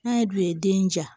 N'a ye du ye den ja